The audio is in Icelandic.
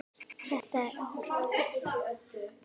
Þetta er árátta.